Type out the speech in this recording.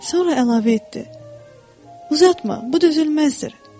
Sonra əlavə etdi: "Uzatma, bu dözülməzdir.